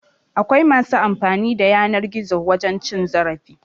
Akwai masu amfani da yanar gizo wajen cin zarafi